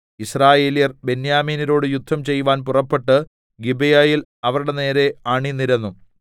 യിസ്രായേല്യർ ബെന്യാമീന്യരോട് യുദ്ധം ചെയ്‌വാൻ പുറപ്പെട്ട് ഗിബെയയിൽ അവരുടെ നേരെ അണിനിരന്നു